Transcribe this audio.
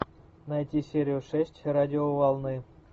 найти серию шесть радиоволны